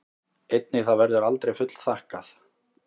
Einnig það verður aldrei fullþakkað.